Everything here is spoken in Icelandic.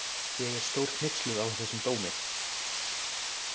Ég er stórhneyksluð á þessum dómi.